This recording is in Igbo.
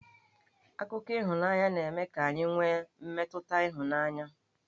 Akụkọ ịhụnanya na-eme ka anyị nwe mmetụta ịhụnanya